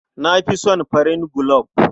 Na fi son farin gulob.